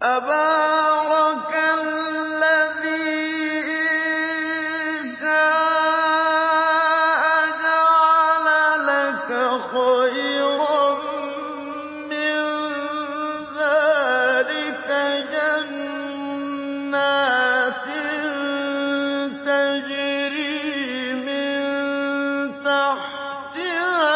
تَبَارَكَ الَّذِي إِن شَاءَ جَعَلَ لَكَ خَيْرًا مِّن ذَٰلِكَ جَنَّاتٍ تَجْرِي مِن تَحْتِهَا